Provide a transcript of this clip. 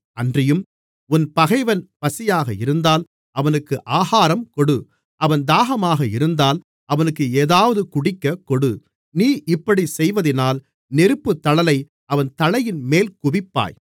அன்றியும் உன் பகைவன் பசியாக இருந்தால் அவனுக்கு ஆகாரம் கொடு அவன் தாகமாக இருந்தால் அவனுக்கு ஏதாவது குடிக்கக்கொடு நீ இப்படிச் செய்வதினால் நெருப்புத் தழலை அவன் தலையின்மேல் குவிப்பாய்